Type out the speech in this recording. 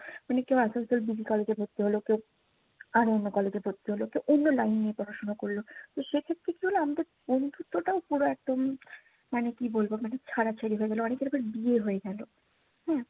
মানে ভর্তি হলো। কেউ আরো অন্য college এ ভর্তি হলো কেউ অন্য line নিয়ে পড়াশোনা করলো। তো সেক্ষেত্রে কি হলো? আমাদের বন্ধুত্বটাও পুরা একদম মানে কি বলবো মানে ছাড়াছাড়ি হয়ে গেলো। অনেকের আবার বিয়ে হয়ে গেলো।